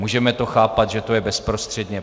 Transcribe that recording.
Můžeme to chápat, že je to bezprostředně.